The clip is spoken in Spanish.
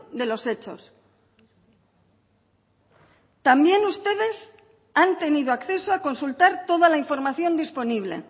de los hechos también ustedes han tenido acceso a consultar toda la información disponible